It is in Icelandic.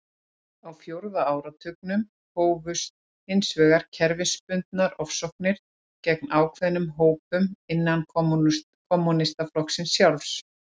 Á fjórða áratugnum hófust hins vegar kerfisbundnar ofsóknir gegn ákveðnum hópum innan kommúnistaflokksins sjálfs.